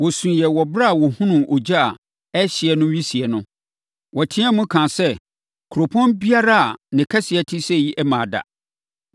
Wɔsuiɛ wɔ ɛberɛ a wɔhunuu ogya a ɛrehyeɛ no wisie no, wɔteam ka sɛ ‘Kuropɔn biara a ne kɛseɛ te sɛi mmaa da.’ ”